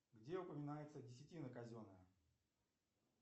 где упоминается десятина казенная